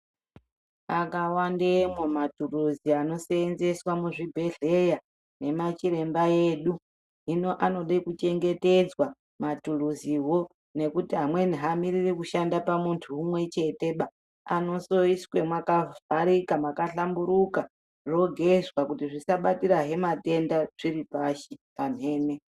Akawandemwo matulusi anoshandiswa muzvibhedhlera nemachiremba edu. Hino anode kuchengetedzwa matulusiwo nekuti amweni hamiriri kushanda pamuntu umwe cheteba. Anosoiswe makavharika makahlamburuka zvogezwa kuti zvisa batirahe matenda zviri pashi pamhene.